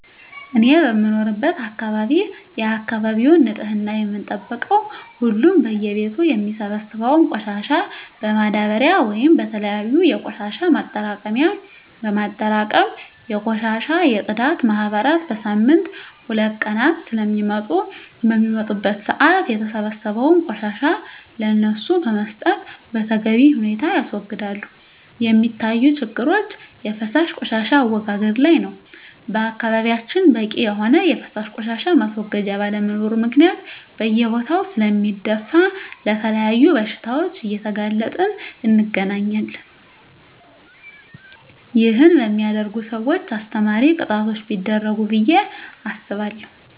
እኔ በምኖርበት አካባቢ የአካባቢውን ንፅህና የምንጠብቀው ሁሉም በየ ቤቱ የሚሰበሰበውን ቆሻሻ በማዳበርያ ወይም በተለያዩ የቆሻሻ ማጠራቀሚያ በማጠራቀም የቆሻሻ የፅዳት ማህበራት በሳምንት ሁለት ቀናት ስለሚመጡ በሚመጡበት ሰአት የተሰበሰበውን ቆሻሻ ለነሱ በመስጠት በተገቢ ሁኔታ ያስወግዳሉ። የሚታዪ ችግሮች የፈሳሽ ቆሻሻ አወጋገድ ላይ ነው በአካባቢያችን በቂ የሆነ የፈሳሽ ቆሻሻ ማስወገጃ ባለመኖሩ ምክንያት ሰው በየቦታው ስለሚደፍ ለተለያዩ በሽታዎች እየተጋለጠን እንገኛለን ይህን በሚያደርጉ ሰውች አስተማሪ ቅጣቶች ቢደረጉ ብየ አስባለሁ።